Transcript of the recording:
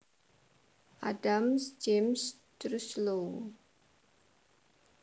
Adams James Truslow